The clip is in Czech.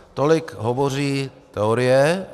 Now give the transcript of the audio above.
Tolik hovoří teorie.